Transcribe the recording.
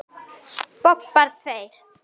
Bobbar tveir.